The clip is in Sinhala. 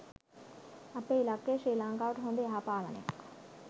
අපේ ඉලක්කය ශ්‍රී ලංකාව හොඳ යහපාලනයක්